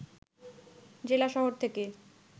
জেলা শহর থেকে